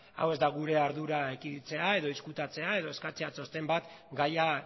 hau ez da gure ardura ekiditzea edo ezkutatzea edo eskatzea txosten bat gaia